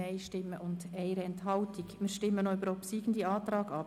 Wir stimmen über den obsiegenden Antrag ab.